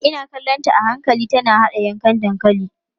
Ina kallonta a hankali tana haɗa yankan dankalin.